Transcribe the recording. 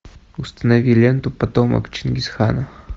установи ленту потомок чингисхана